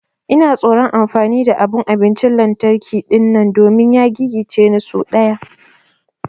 Ina tsoron amfani da abun abincin lantarki dinnan domin ya gigice ni sau daya.